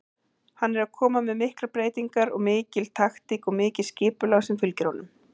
Hann er að koma með miklar breytingar, mikil taktík og mikið skipulag sem fylgir honum.